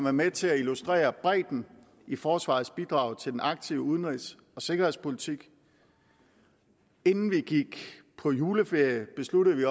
er med til at illustrere bredden i forsvarets bidrag til den aktive udenrigs og sikkerhedspolitik inden vi gik på juleferie besluttede vi